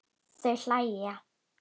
Þau hlæja.